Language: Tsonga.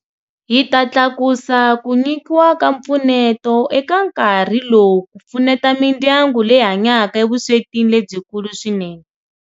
Hi ta tlakusa ku nyikiwa ka mpfuneto eka nkarhi lowu ku pfuneta mindyangu leyi hanyaka evuswetini lebyikulu swinene.